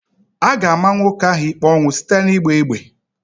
A ga-ama nwoke ahụ ikpe ọnwụ site n'ịgba egbe.